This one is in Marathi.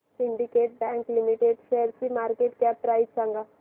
सिंडीकेट बँक लिमिटेड शेअरची मार्केट कॅप प्राइस सांगा